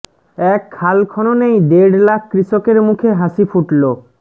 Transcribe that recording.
এক খাল খননেই দেড় লাখ কৃষকের মুখে হাসি ফুটল